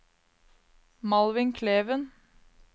Malvin Kleven